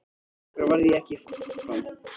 Af hverju varð ég ekki áfram?